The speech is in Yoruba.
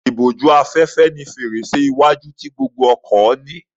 Ìbójú-afẹ́fẹ́ ni fèrèsé iwájú tí gbogbo ọkọ̀ ní.